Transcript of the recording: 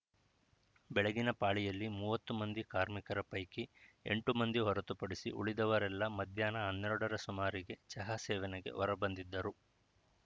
ಬೆಳಗಿನ ಪಾಳಿಯದಲ್ಲಿ ಮೂವತ್ತು ಮಂದಿ ಕಾರ್ಮಿಕರ ಪೈಕಿ ಎಂಟು ಮಂದಿ ಹೊರತುಪಡಿಸಿ ಉಳಿದವರೆಲ್ಲ ಮಧ್ಯಾಹ್ನ ಹನ್ನೆರಡರ ಸುಮಾರಿಗೆ ಚಹಾ ಸೇವನೆಗೆ ಹೊರ ಬಂದಿದ್ದರು